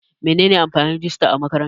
Menene amfanin rijista a makaranta?